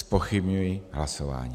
Zpochybňuji hlasování.